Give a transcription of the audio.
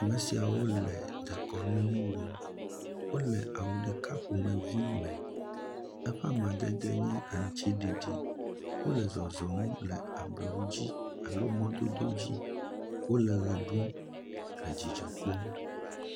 Ame siawo le dekɔnu nu wɔm wole awu ɖeka ƒomevi aɖe me eƒe amadede nye aŋutiɖiɖi, wole zɔzɔm le ablɔwo dzi alo mɔdodo dzi, wole ʋe ɖum le dzizdɔ kpɔm.